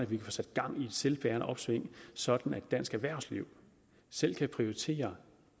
kan få sat gang i et selvbærende opsving så dansk erhvervsliv selv kan prioritere